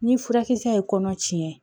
Ni furakisɛ ye kɔnɔ tiɲɛ